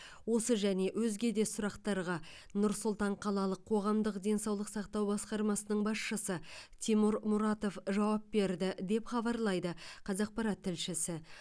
осы және өзге де сұрақтарға нұр сұлтан қалалық қоғамдық денсаулық сақтау басқармасының басшысы тимур мұратов жауап берді деп хабарлайды қазақпарат тілшісі